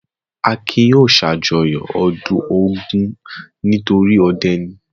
Akin yóò ṣàjọyọ̀ ọdún Ògún nitori ọdẹ ni.